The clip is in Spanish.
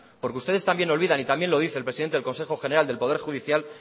porque ustedes también olvidan y también lo dice el presidente del consejo general del poder judicial